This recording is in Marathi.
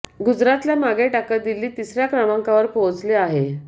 गुजरातला मागे टाकत दिल्ली तिसऱ्या क्रमांकावर पोहोचले आहे